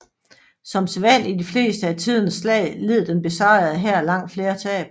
Som sædvanlig i de fleste af tidens slag led den besejrede hær langt flere tab